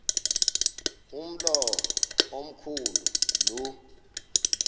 umlo omkhu lu